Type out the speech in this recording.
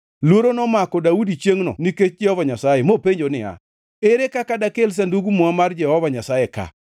Luoro nomako Daudi chiengʼno nikech Jehova Nyasaye mopenjo niya, “Ere kaka dakel Sandug Muma mar Jehova Nyasaye ka?”